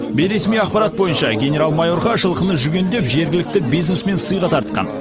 бейресми ақпарат бойынша генерал майорға жылқыны жүгендеп жергілікті бизнесмен сыйға тартқан